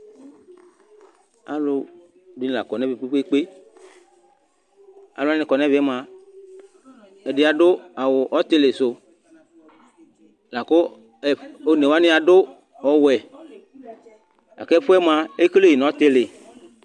alũdinï la ƙɔnẽmɛ kpekpe aluani akɔnẽmẽ mua ɛdiadũ awu ɔtilisũ lakũ ɛf õnewani adũ ɔwũɛ aku ẽfuẽ mũa ékélé nũ ɔtïlĩ